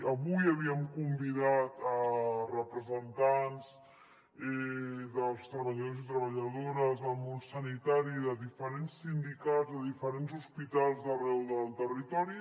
avui havíem convidat representants dels treballadors i treballadores del món sanitari i de diferents sindicats de diferents hospitals d’arreu del territori